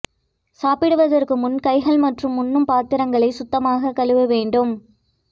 சாப்பிடுவதற்கு முன் கைகள் மற்றும் உண்ணும் பாத்திரங்களை சுத்தமாக கழுவ வேண்டும்